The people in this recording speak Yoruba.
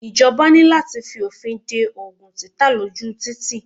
Ìjọba ní láti f'ọ̀fin de Ògùn títà ló jù títì.